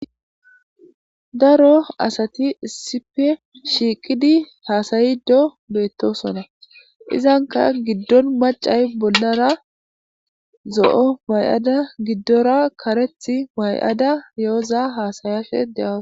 daro asati issipe shiiqidi haasayido beettosonna, izanka giddon macay bollara zo'o may'ada giddora kareth may'ada yooza haasayashe de'awus.